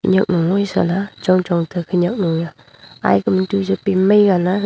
sa le chong chong tega khanyak nui a ai kaman tu jau pemai gale.